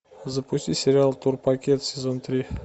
запусти сериал турпакет сезон три